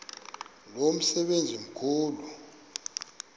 lo msebenzi mkhulu